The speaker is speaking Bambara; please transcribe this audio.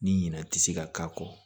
Ni ɲina ti se ka k'a kɔ